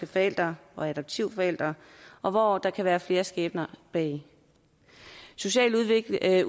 forældre og adoptivforældre og hvor der kan være flere skæbner bag socialudvalget